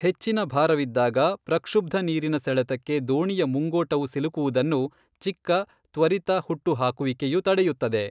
ಹೆಚ್ಚಿನ ಭಾರವಿದ್ದಾಗ ಪ್ರಕ್ಷುಬ್ಧ ನೀರಿನ ಸೆಳೆತಕ್ಕೆ ದೋಣಿಯ ಮುಂಗೋಟವು ಸಿಲುಕುವುದನ್ನು ಚಿಕ್ಕ, ತ್ವರಿತ ಹುಟ್ಟು ಹಾಕುವಿಕೆಯು ತಡೆಯುತ್ತದೆ.